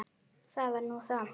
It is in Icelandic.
Það var nú það.